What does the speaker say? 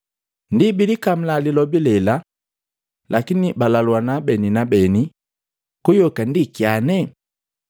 Ndi bilikamula lilobi lela, lakini balaluana beni na beni, “Kuyoka ndi kyane?”